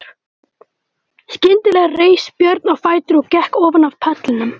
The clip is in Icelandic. Skyndilega reis Björn á fætur og gekk ofan af pallinum.